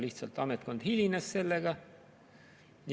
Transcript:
Lihtsalt ametkond hilines sellega.